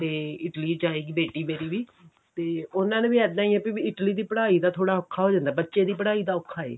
Italy ਜਾਏਗੀ ਬੇਟੀ ਮੇਰੀ ਵੀ ਤੇ ਉਹਨਾਂ ਦਾ ਵੀ ਏਦਾ ਹੀ ਹੈਂ ਮਤਲਬ Italy ਦੀ ਪੜ੍ਹਾਈ ਦਾ ਥੋੜਾ ਔਖਾ ਹੋ ਜਾਂਦਾ ਹੈ ਬੱਚੇ ਦੀ ਪੜਾਈ ਦਾ ਔਖਾ ਐ